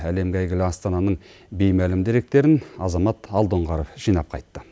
әлемге әйгілі астананың беймәлім деректерін азамат алдоңғаров жинап қайтты